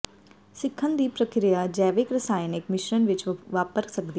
ਸਿੱਖਣ ਦੀ ਪ੍ਰਕਿਰਿਆ ਜੈਵਿਕ ਰਸਾਇਣਕ ਮਿਸ਼ਰਣ ਵਿੱਚ ਵਾਪਰ ਸਕਦੀ ਹੈ